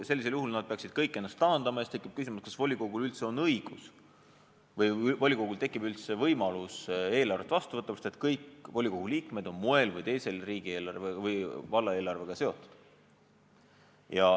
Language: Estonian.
Sellisel juhul peaksid nad kõik ennast taandama ja siis tekib küsimus, kas volikogul tekib üldse võimalust eelarvet vastu võtta, sest kõik volikogu liikmed on moel või teisel valla eelarvega seotud.